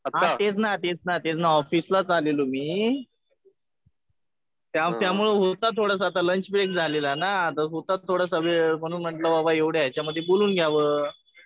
हा तेच ना तेच ना. ऑफिसलाच आलेलो मी. त्यामुळे होता थोडासा. आता लंच ब्रेक झालेला ना होता तर थोडासा वेळ म्हणून म्हणलं बाबा एवढ्या ह्यांच्यामध्ये बोलून घ्यावं.